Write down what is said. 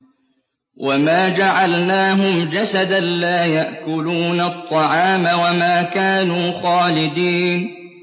وَمَا جَعَلْنَاهُمْ جَسَدًا لَّا يَأْكُلُونَ الطَّعَامَ وَمَا كَانُوا خَالِدِينَ